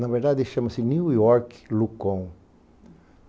Na verdade, ele chama-se New York Lucon.